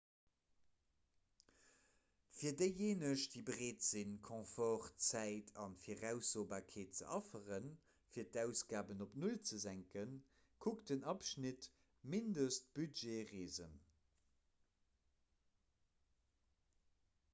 fir déijéineg déi bereet sinn confort zäit a viraussobarkeet ze afferen fir d'ausgaben op null ze senken kuckt den abschnitt mindestbudgetreesen